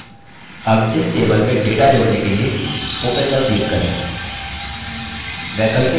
add इस table में data जोड़ने के लिए open पर click करें